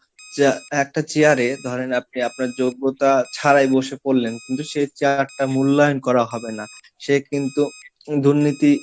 chair একটা chair এ ধরেন আপনি আপনার যোগ্যতা ছাড়াই বসে পড়লেন কিন্তু সে একটা মূল্যায়ন করা হবে না সে কিন্তু দুর্নীতি,